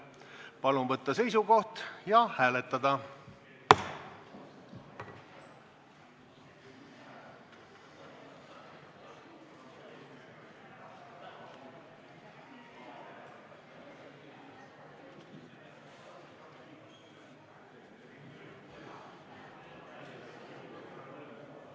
Palun võtta seisukoht ja hääletada!